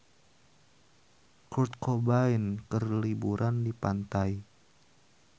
Kurt Cobain keur liburan di pantai